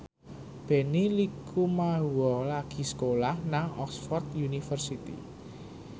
Benny Likumahua lagi sekolah nang Oxford university